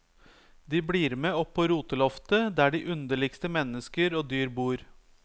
De blir med opp på roteloftet der de underligste mennesker og dyr bor.